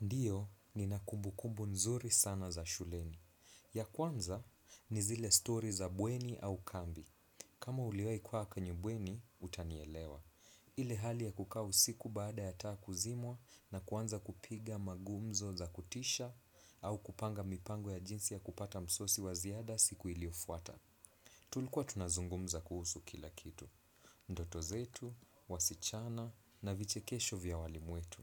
Ndio nina kumbu kumbu nzuri sana za shuleni. Ya kwanza ni zile story za bweni au kambi. Kama uliwahi kukaa kwenye bweni, utanielewa. Ile hali ya kukaa usiku baada ya taa kuzimwa na kuanza kupiga magumzo za kutisha au kupanga mipango ya jinsi ya kupata msosi wa ziada siku iliofuata. Tulikuwa tunazungumza kuhusu kila kitu. Ndoto zetu, wasichana na viche kesho vya walimu wetu.